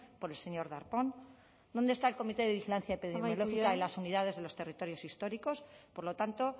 por el señor darpón dónde está el comité de vigilancia epidemiológica amaitu jada y las unidades de los territorios históricos por lo tanto